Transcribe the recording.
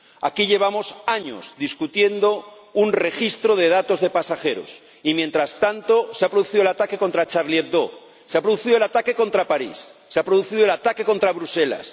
Aquí llevamos años debatiendo sobre un registro de datos de pasajeros, y mientras tanto se ha producido el ataque contra Charlie Hebdo, se ha producido el ataque contra París, se ha producido el ataque contra Bruselas